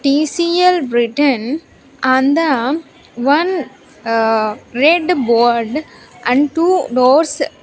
T_C_L written on the one uh red board and two doors.